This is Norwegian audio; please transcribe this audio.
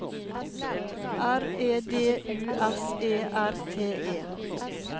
R E D U S E R T E